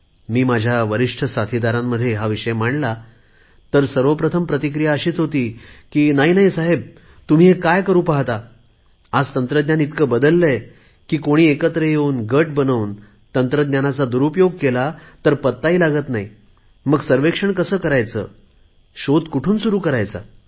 मी माझ्या वरिष्ठ साथीदारांमध्ये हा विषय मांडला तर सर्व प्रथम प्रतिक्रिया अशीच होती की नाही नाही साहेब तुम्ही हे काय करु पाहता आज तंत्रज्ञान इतके बदलले आहे की कोणी एकत्र येऊन गट बनवून तंत्रज्ञानाचा दुरुपयोग केला तर पत्ता लागत नाही मग सर्वेक्षण कसे करायचे शोध कुठुन सुरु करायचा